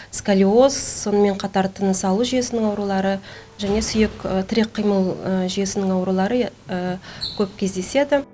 сколиоз сонымен қатар тыныс алу жүйесінің аурулары және сүйек тірек қимыл жүйесінің аурулары көп кездеседі